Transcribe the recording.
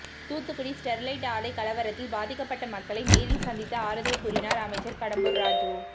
Thoothukudi Sterlite ஆலை கலவரத்தில் பாதிக்கப்பட்ட மக்களை நேரில் சந்தித்து ஆறுதல் கூறினார் அமைச்சர் கடம்பூர் ராஜூ